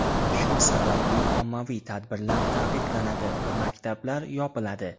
Shu sababli ommaviy tadbirlar taqiqlanadi va maktablar yopiladi.